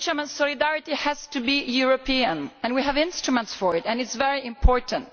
Solidarity has to be European, and we have instruments for it and it is very important.